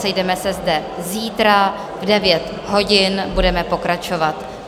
Sejdeme se zde zítra v 9 hodin, budeme pokračovat.